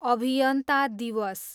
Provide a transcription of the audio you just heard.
अभियन्ता दिवस